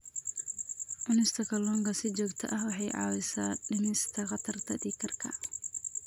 Cunista kalluunka si joogto ah waxay caawisaa dhimista khatarta dhiig karka.